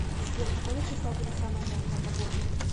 сбер какого числа будет самая жаркая погода